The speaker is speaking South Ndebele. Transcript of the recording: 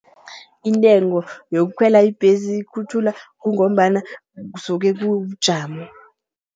Intengo yokukhwela ibhesi, ikhutjhulwa kungombana kusuke kubujamo.